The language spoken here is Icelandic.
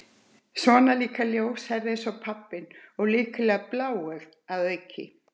Og svona líka ljóshært eins og pabbinn- og líklega bláeygt að auki.